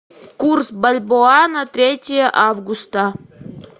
курс бальбоа на третье августа